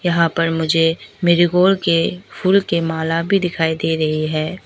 यहां पर मुझे मेरी गोल्ड के फूल के माला भी दिखाई दे रही है।